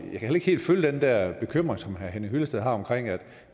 heller ikke helt følge den der bekymring som herre henning hyllested har